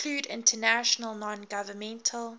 include international nongovernmental